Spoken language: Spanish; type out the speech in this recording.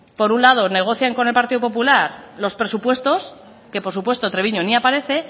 por un lado negocian con el partido popular los presupuestos que por supuesto treviño ni aparece